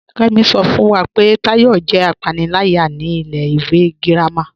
Kẹ́mí ṣọ́ fún wá pé Táyọ̀ jẹ́ àpánìlàyà ní ilẹ̀ ìwé gírámà.